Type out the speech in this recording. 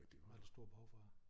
Var der et stort behov fra